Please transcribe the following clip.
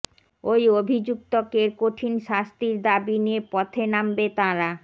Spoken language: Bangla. ওই অভিযুক্তকের কঠিন শাস্তির দাবী নিয়ে পথে নামবে তাঁরা